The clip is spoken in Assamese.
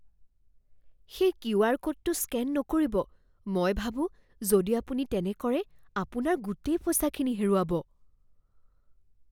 সেই কিউ.আৰ. ক'ডটো স্কেন নকৰিব। মই ভাবোঁ যদি আপুনি তেনে কৰে, আপোনাৰ গোটেই পইচাখিনি হেৰুৱাব।